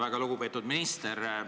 Väga lugupeetud minister!